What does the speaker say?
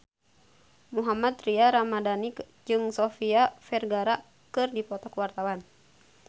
Mohammad Tria Ramadhani jeung Sofia Vergara keur dipoto ku wartawan